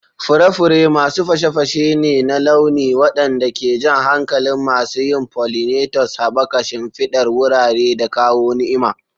Fure-fure masu fashe-fashe ne na launi waɗanda ke jan hankalin masu yin pollinators, haɓaka shimfidar wurare, da kawo ni'ima.